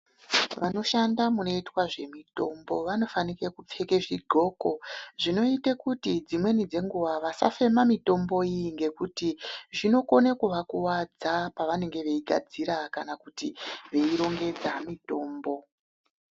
Vanoshande munoitwe zvemitombo vanofanike kupfeke zvidhloko, zvinoite kuti dzimweni dzenguva vasafeme mitombo iyi, ngekuti zvinokone kuvakuvadza pavanenge veigadzira kana kuti veirongedza mitombo.